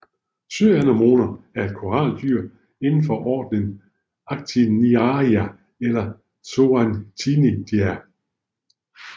Søanemoner er koraldyr indenfor ordnerne Actiniaria eller Zoanthidea